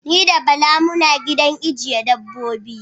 Ni da Bala muna gidan ajjiye dabbobi.